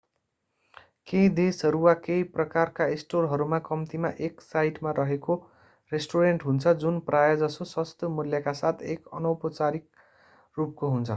केही देशहरू वा केही प्रकारका स्टोरहरूमा कम्तिमा एक साइटमा रहेको रेस्टुरेन्ट हुन्छ जुन प्राय:जसो सस्तो मूल्यका साथ एक अनौपचारिक रूपको हुन्छ।